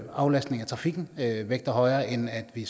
aflastning af trafikken vægter højere end at vi